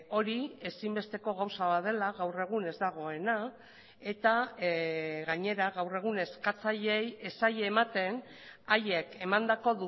hori ezinbesteko gauza bat dela gaur egun ez dagoena eta gainera gaur egun eskatzaileei ez zaie ematen haiek emandako